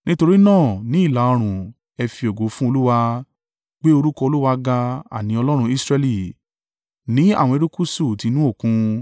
Nítorí náà ní ìlà-oòrùn ẹ fi ògo fún Olúwa; gbé orúkọ Olúwa ga, àní Ọlọ́run Israẹli, ní àwọn erékùṣù ti inú Òkun.